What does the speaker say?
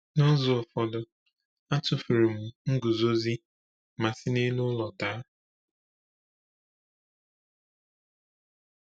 N’ụzọ ụfọdụ, a tụfuru m nguzozi ma si n’elu ụlọ daa.